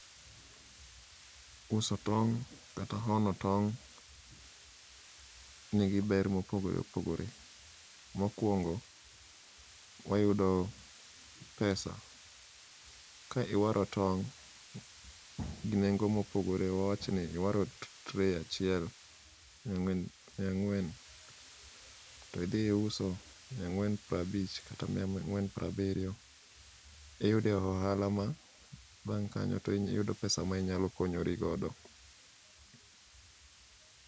Uso tong' kata hono tong' nigi ber mopogore opogore. Mokwongo, wayudo pesa. Ka iwaro tong' gi nengo mopogore. Wawach ni iwaro tray achiel miya ang'wen, to idhi iuso miya ang'wen prabich kata miya ang'wen prabiriyo, iyude ohala ma bang' kanyo iyudo pesa ma inyalo konyori godo.